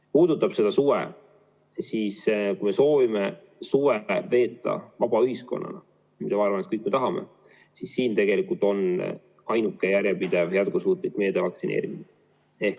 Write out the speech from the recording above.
Mis puudutab suve, siis kui soovime suve veeta vaba ühiskonnana – ja ma arvan, et kõik me tahame –, siis tegelikult on ainuke jätkusuutlik meede vaktsineerimine.